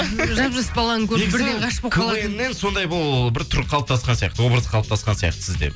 жап жас баланы көріп бірден ғашық болып қалатын квн нен сондай бұл бір қалыптасқан сияқты образ қалыптасқан сияқты сізде